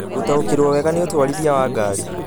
gũtaũkĩrũo wega nĩ ũtwarithia wa ngari